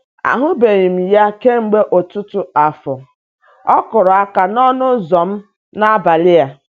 Ahụbeghị m ya kemgbe ọtụtụ afọ, ọ kụrụ aka n'ọnụ ụzọ m n'abalị a.